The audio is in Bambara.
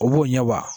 O b'o ɲɛbaa